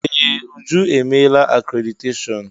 Ee! Uju emeela akréditeshọọn.